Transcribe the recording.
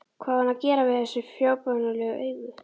Hvað á hann að gera við þessi fábjánalegu augu?